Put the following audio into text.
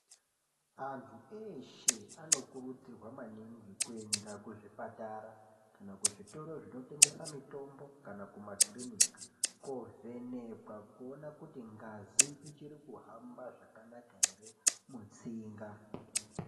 Antu eshe anokurudzirwa maningi kuenda kuzvipatara kana kuzvitoro zvinotengesa mutombo kana kumakirinika kovhenekwa kuona kuti ngazi ichikuhamba zvakanaka ere mutsinga.